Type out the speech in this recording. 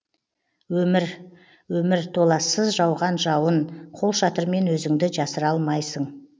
өмір өмір толассыз жауған жауын қолшатырмен өзіңді жасыра алмайсың